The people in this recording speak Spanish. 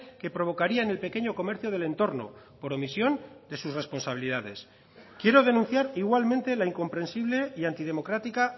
que provocaría en el pequeño comercio del entorno por omisión de sus responsabilidades quiero denunciar igualmente la incomprensible y antidemocrática